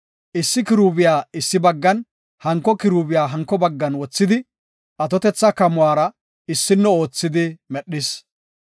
issi kiruubiya issi baggan, hanko kiruubiya hanko baggan wothidi, atotetha kamuwara issino oothidi medhis.